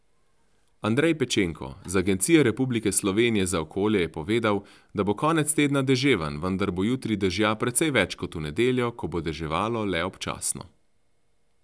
Andrej Pečenko z Agencije Republike slovenije za okolje je povedal, da bo konec tedna deževen, vendar bo jutri dežja precej več kot v nedeljo, ko bo deževalo le občasno.